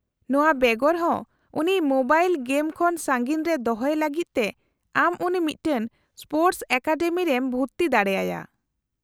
-ᱱᱚᱶᱟ ᱵᱮᱜᱚᱨ ᱦᱚᱸ ᱩᱱᱤ ᱢᱳᱵᱟᱭᱤᱞ ᱜᱮᱢ ᱠᱷᱚᱱ ᱥᱟᱺᱜᱤᱧ ᱨᱮ ᱫᱚᱦᱚᱭᱮ ᱞᱟᱹᱜᱤᱫ ᱛᱮ ᱟᱢ ᱩᱱᱤ ᱢᱤᱫᱴᱟᱝ ᱥᱯᱳᱨᱴᱚᱥ ᱮᱠᱟᱰᱮᱢᱤ ᱨᱮᱢ ᱵᱷᱩᱨᱛᱤ ᱫᱟᱲᱮ ᱟᱭᱟ ᱾